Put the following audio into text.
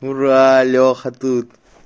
ура леха тут